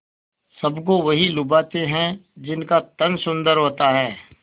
सबको वही लुभाते हैं जिनका तन सुंदर होता है